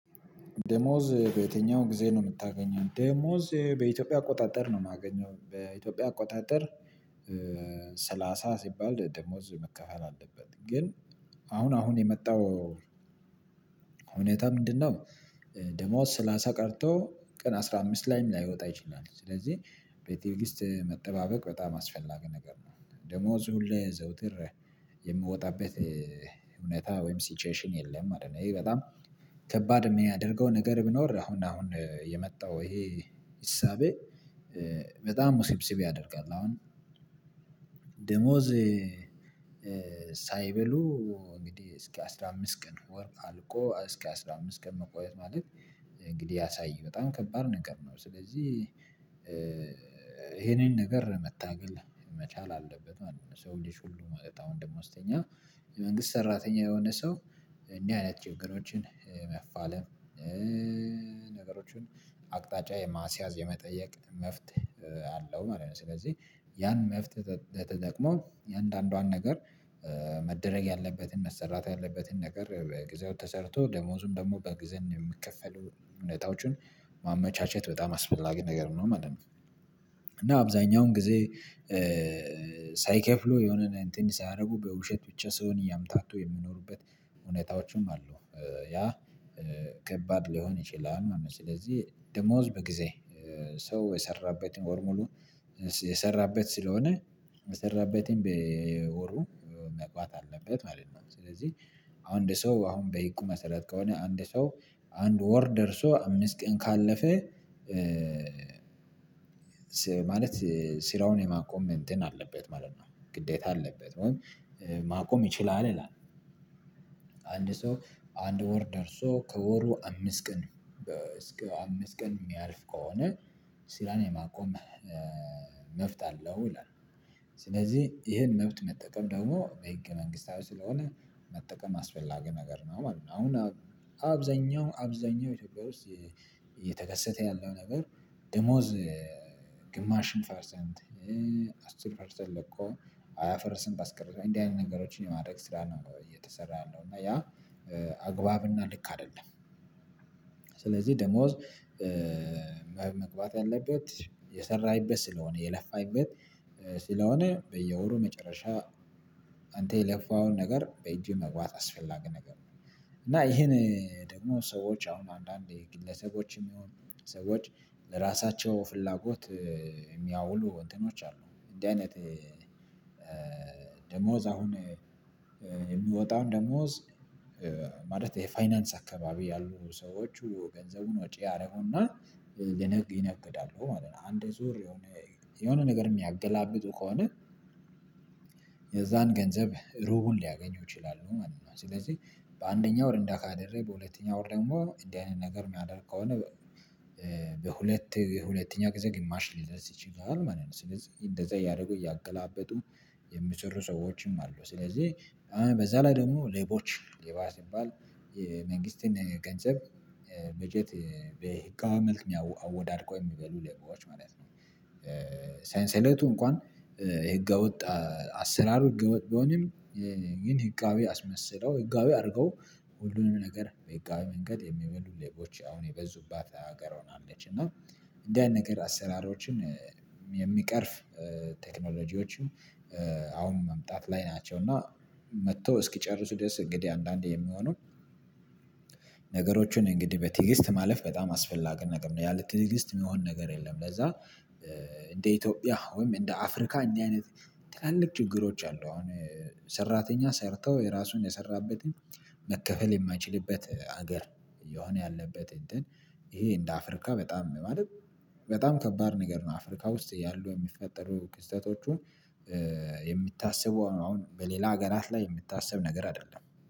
ደሞዝ በየትኛው ጊዜ ነው የምታገኘው ደሞዝ በኢትዮጵያ አቆጣጠር ነው? የማገኘው በኢትዮጵያ አቆጣጠር። ሰላሳ ሲባል ደሞዝ መከፈል አለበት። ግን አሁን አሁን የመጣው እውነታ ምንድነው? ደሞዝ ስላሳ ቀርቶ ቀን አስራ አምስት ላይም ላይወጣ ይችላል። ስለዚህ በቴክሰት መጠባበቅ በጣም አስፈላጊ ነገር ነው። ደሞዝ ሁሌ ዘውትር የምወጣበት እውነታ ወይም ሲቹዌሽን የለም ማለት ነው። ይሄ በጣም ከባድ የሚያደርገው ነገር ቢኖር አሁን አሁን የመጣው ይሄ እሳቤ በጣም ውስብስብ ያደርጋል። አሁን ደሞዝ ሳይበሉ እንግዲህ እስከ አስራ አምስት ቀን ወር አልቆ እስከ አስራ አምስት ቀን መቆየት ማለት እንግዲህ ያሳይህ በጣም ከባድ ነገር ነው። ስለዚህ ይሄንን ነገር መታገል መቻል አለበን ማለት ነው። የ ሰው ልጆች ሁሉ ማለት አሁን ደግሞ ደሞዝተኛ መንግስት ሰራተኛ የሆነ ሰው እንዲህ አይነት ችግሮችን መፋለም። ነገሮችን አቅጣጫ የማስያዝ የመጠየቅ መፍትህ አለው ማለት ነው። ስለዚህ ያን መፍትሄ ተጠቅሞ የአንዳንዷን ነገር መደረግ ያለበትን መሰራት ያለበትን ነገር በጊዜው ተሰርቶ ደሞዙን ደግሞ በግዜ የምከፈሉ እውነታዎችን ማመቻቸት በጣም አስፈላጊ ነገር ነው ማለት ነው። እና አብዛኛውን ጊዜ ሳይከፍሉ የሆነ እንትን ሳያደርጉ በውሸት ብቻ ስሆን እያምታቱ የሚኖሩበት እውነታዎችም አሉ። ያ ከባድ ሊሆን ይችላል ማለት ነው። ስለዚህ ደሞዝ በጊዜ ሰው የሰራበትን ወር ሙሉ የሰራበት ስለሆነ የሰራበትን በወሩ መግባት አለበት ማለት ነው። ስለዚህ አሁን እንደ ሰው አሁን በሂቁ መሰረት ከሆነ አንድ ሰው አንድ ወር ደርሶ አምስት ቀን ካለፈ ማለት ስራውን የማቆም እንትን አለበት ማለት ነው ግዴታ አለበት። ማቆም ይችላል ይላል። አንድ ሰው አንድ ወር ደርሶ ከወሩ አምስት ቀን እስከ አምስት ቀን የሚያልፍ ከሆነ ስራን የማቆም መፍት አለው ይላል። ስለዚህ ይሄን መብት መጠቀም ደግሞ በህገ መንግስታዊ ስለሆነ መጠቀም አስፈላጊ ነገር ነው ማለት ነው። አሁን አብዛኛው አብዛኛው ኢትዮጵያ ውስጥ እየተከሰተ ያለው ነገር ደሞዝ ግማሽን ፐርሰንት አስር ፐርሰንት ለቆ ሃያ ፐርሰንት አስቀርቷል እንዲህ አይነት ነገሮችን የማድረግ ስራ ነው እየተሰራ ያለው እና ያ አግባብ እና ልክ አይደለም። ስለዚህ ደሞዝ መግባት ያለበት የሰራኢበትስለሆነ የለፋበት ስለሆነ በየወሩ መጨረሻ አንተ የለፋውን ነገር በእጅህ መግባት አስፈላጊ ነገር ነው። እና ይሄን ደግሞ ሰዎች አሁን አንዳንዴ ግለሰቦችም የሆኑ ሰዎች ለራሳቸው ፍላጎት የሚያውሉ እንትኖች አሉ። እንዲህ አይነት ደሞዝ አሁን የሚወጣውን ደሞዝ ማለት ይሄ ፋይናንስ አካባቢ ያሉ ሰዎቹ ገንዘቡን ወጪ ያደርጉና ይነግዳሉ ማለት ነው። አንድ ዙር የሆነ የሆነ ነገር የሚያገላብጡ ከሆነ የዛን ገንዘብ ሩቡን ሊያገኙ ይችላሉ ማለት ነው። ስለዚህ በአንደኛው ወር እንዳ ካደረጉ በሁለተኛው ወር ደግሞ እንዲህ አይነት ነገር የሚያደርግ ከሆነ በሁለት ሁለተኛ ጊዜ ግማሽ ሊደርስ ይችላል ማለት ነው። ስለዚህ እንደዛ እያደረጉ እያገላበጡ የሚሰሩ ሰዎችም አሉ። ስለዚህ በዛ ላይ ደግሞ ሌቦች ሌባ ሲባል የመንግስትን ገንዘብ በጀት በህጋዊ መልክ አወዳድቀው የሚበሉ ሌቦች ማለት ነው። ሴንሴሌቱ እንኳን ህገወጥ አሰራሩ ህገወጥ ቢሆንም ግን ህጋዊ አስመስለው ህጋዊ አድርገው ሁሉንም ነገር በህጋዊ መንገድ የሚበሉ ሌቦች አሁን የበዙባት ሀገር ሆናለች። እና እንዲህ አይነት ነገር አሰራሮችን የሚቀርፍ ቴክኖሎጂዎችን አሁን መምጣት ላይ ናቸው። እና መተው እስኪጨርሱ ድረስ እንግዲህ አንዳንዴ የሚሆነው ነገሮችን እንግዲህ በቲግስት ማለፍ በጣም አስፈላጊ ነገር ነው። ያለት ትዕግስት የሚሆን ነገር የለም። ለዛ እንደ ኢትዮጵያ ወይም እንደ አፍሪካ እንዲህ አይነት ትላልቅ ችግሮች አሉ። አሁን ሰራተኛ ሰርተው የራሱን የሰራበትን መከፈል የማይችልበት ሀገር እየሆነ ያለበት እንትን ይሄ እንደ አፍሪካ በጣም ነው። ማለት በጣም ከባድ ነገር ነው። አፍሪካ ውስጥ ያሉ የሚፈጠሩ ክስተቶቹን የሚታሰበው አሁን በሌላ ሀገራት ላይ የሚታስብ ነገር አይደለም